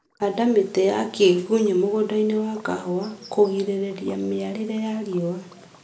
Handa mĩtĩ ya kĩgunyĩ mũgũndainĩ wa kahũa kũgirĩrĩria mĩale ya riũa